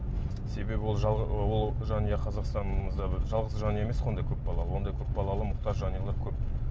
себебі ол ы ол жанұя қазақстанымызда бір жалғыз жанұя емес қой ондай көп балалы ондай көп балалы мұқтаж жанұялар көп